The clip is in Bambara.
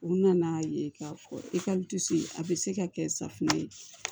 U nana'a ye k'a fɔ i ka se a bɛ se ka kɛ safinɛ ye